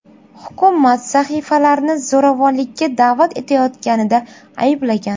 Hukumat sahifalarni zo‘ravonlikka da’vat etayotganida ayblagan.